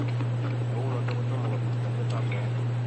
agot kounotok kutomo kotomokopit ng'alyot ab meet.